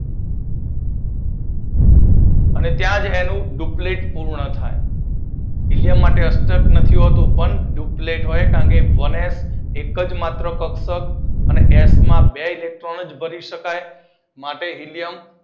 અને ત્યાં જ તેનું ડૂપ્લેક પૂર્ણ થાય. તેના માટે અષ્ટક નથી હોતું ડૂપ્લેક હોય છે કારણ કે વનએચ એક જ માત્ર કક્ષક અને એચ માં મા બે જ ઇલેક્ટ્રોન ભરી શે એટલે માત્ર હીલિયમ વનએચ